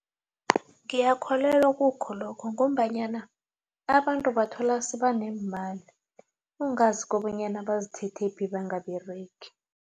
Ngiyakholelwa kukho lokho ngombanyana abantu bathola sebaneemali ungazi kobanyana bazithethephi bangaberegi.